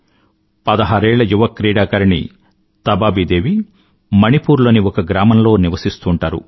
పదహారేళ్ళ యువ క్రీడాకారిణి తబాబి దేవి మణిపూర్ లోని ఒక గ్రామంలో నివసిస్తూంటారు